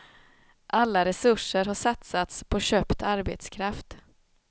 Alla resurser har satsats på köpt arbetskraft.